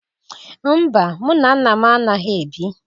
Mba, mụ na nna m anaghị ebi.